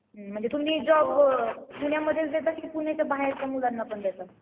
म्हणजे तुम्ही जॉब पुण्यामध्येच देता की पुण्याच्या बाहेरच्या मुलांना पण देता.